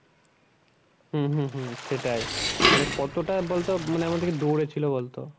হম হম হম সেটাই মানে কতটা বলতো মানে আমাদেরকে দৌঁড়েছিলো বলতো।